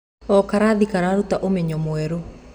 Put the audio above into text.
O karatathi karutaga ũmenyo mwerũ.